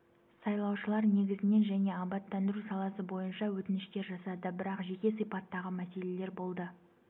сайлаушылар негізінен және абаттандыру саласы бойынша өтініштер жасады бірақ жеке сипаттағы мәселелер болды